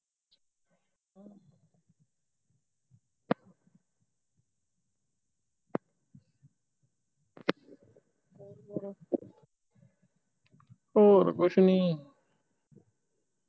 ਹੋਰ ਕੁਛ ਨਹੀਂ